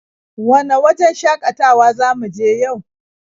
Wane wajen shakatawa za mu je yau?